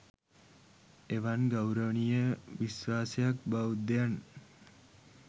එවන් ගෞරවනීය විශ්වාසයක් බෞද්ධයන්